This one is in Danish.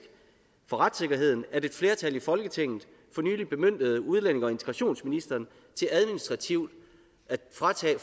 for retssikkerheden at et flertal i folketinget for nylig bemyndigede udlændinge og integrationsministeren til administrativt at fratage